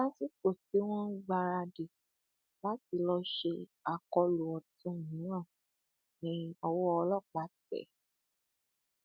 lásìkò tí wọn ń gbáradì láti lọọ ṣe akólú ọtún mìíràn ni ọwọ ọlọpàá tẹ ẹ